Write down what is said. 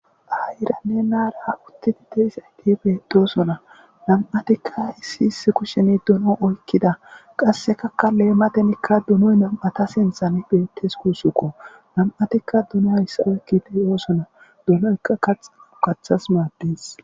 Aayiranne na7ara uththithi de7izaythi beeththoosona; nam7athikka issi issi kusheni dono oykkida; qassekakka leemathenikka donoy nam7atha sinthani beeththes guusukko; nam7athikka donuwa hisa oykkide de7oosona; donoykka kathas kathas maaddees.